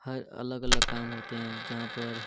हर अलग-अलग काम होते हैं जहां पर --